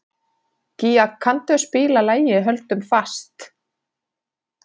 Gía, kanntu að spila lagið „Höldum fast“?